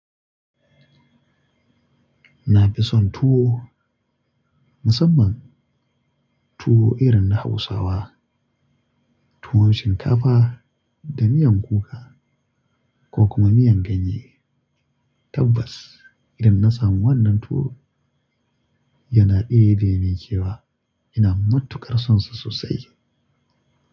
Na fi son tuwo, musamman tuwo irin na Hausawa. Tuwon shinkafa da miyan kuka ko kuma miyan ganye. Tabbas idan na samu wannan tuwo yana ɗebe ni cewa ina matukar sonsa sosai.